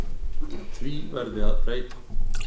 Því verði að breyta.